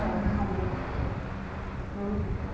ਹਾ ਜੀ ਉਹ ਕੇ